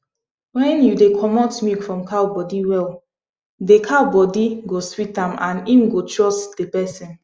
when you dey comot milk from cow body well they cow body go sweet am and im go trust de person